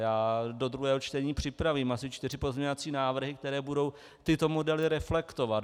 Já do druhého čtení připravím asi čtyři pozměňovací návrhy, které budou tyto modely reflektovat.